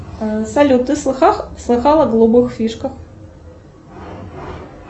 салют ты слыхал о голубых фишках